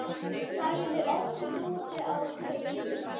sagði Oddur úti á þekju.